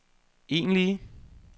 egentlige